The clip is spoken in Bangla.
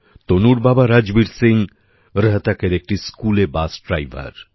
তনুর বাবা রাজবীর সিং রোহতকের একটি স্কুলএ বাস ড্রাইভার